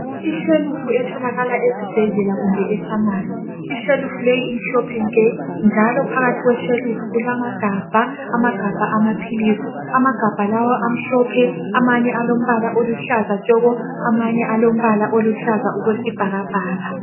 Ishelufu etholakala esibhedlela kumbe e"pharmacy".Ishelufu leyi imhlophe nke njalo phakathi kweshelufu kulama gabha, amagabha amaphilisi. Amagabha lawa amhlophe, amanye alombala oluhlaza tshoko, amanye alombala oluhlaza okwesibhakabhaka.